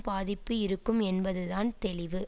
பாதிப்பு இருக்கும் என்பதுதான் தெளிவு